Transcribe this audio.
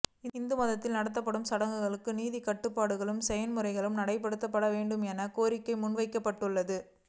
இந்து மதத்தில் நடத்தப்படும் சடங்குகளுக்காக நிதிக்கட்டுப்பாட்டு செயன்முறையை நடைமுறைப்படுத்த வேண்டும் என கோரிக்கை முன்வைக்கப்பட்டுள்ளது